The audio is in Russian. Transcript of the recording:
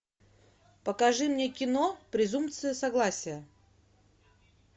покажи мне кино презумпция согласия